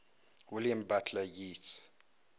william butler yeats